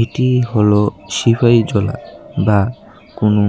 এটি হলো বা কোনো